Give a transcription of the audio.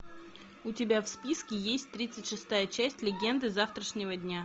у тебя в списке есть тридцать шестая часть легенды завтрашнего дня